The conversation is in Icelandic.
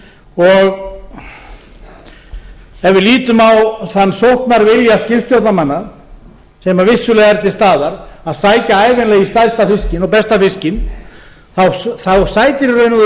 ef við lítum á þann sóknarvilja skipstjórnarmanna sem vissulega er til staðar að sækja ævinlega í stærsta fiskinn og besta fiskinn sætir í raun og